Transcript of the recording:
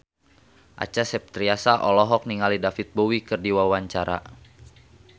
Acha Septriasa olohok ningali David Bowie keur diwawancara